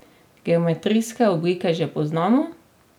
Geometrijske oblike že poznamo.